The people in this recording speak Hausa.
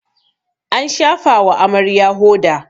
an shafawa Amarya hoda